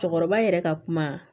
Cɛkɔrɔba yɛrɛ ka kuma